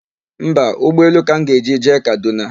Mba, ụgbọelu ka m ga-eji jee Kadụna.